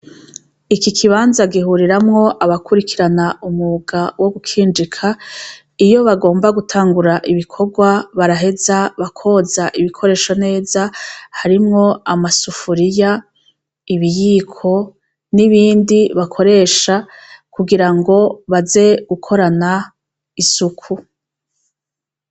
Iki kibanza gihuriramwo abakurikirana umwuga wo gukinjika, iyo bagomba gutangura ibikorwa, baraheza bakoza ibikoresho neza, harimwo amasafuriya, ibiyiko n'ibindi bakoresha kugirango baze gukorana isuku.